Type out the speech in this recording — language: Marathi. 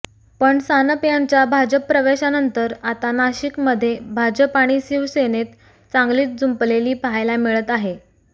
पण सानप यांच्या भाजप प्रवेशानंतर आता नाशिकमध्ये भाजप आणि शिवसेनेत चांगलीच जुंपलेली पाहायला मिळत आहे